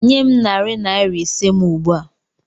Nye m narị naira ise m ugbu a!